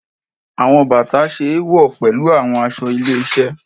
Awọn bata ṣe éwọ pẹlu awọn aṣọ ile-iṣẹ